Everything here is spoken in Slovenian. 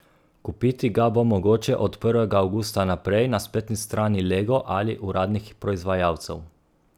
Kupiti ga bo mogoče od prvega avgusta naprej na spletni strani Lego ali uradnih proizvajalcev.